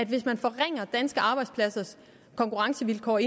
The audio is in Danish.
hvis man forringer konkurrencevilkårene